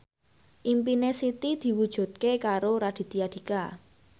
impine Siti diwujudke karo Raditya Dika